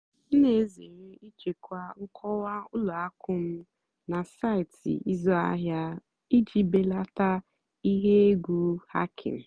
m nà-èzèré ị́chèkwá nkọ́wá ùlọ àkụ́ m nà sáịtị́ ị́zụ́ àhìá ìjì bèlátá íhé ègwu hàckìng.